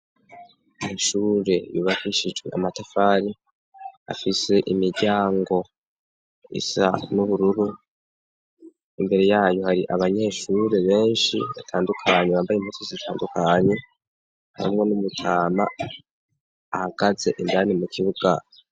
Ishure yubafishijwe amatafari afise imiryango isa n'ubururu imbere yayo hari abanyeshure benshi batandukanye bambaye impuzu zitandukanye hamwe n'umutama ahagaze indani mu kibuga.